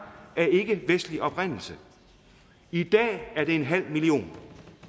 af ikkevestlig oprindelse i dag er det en halv million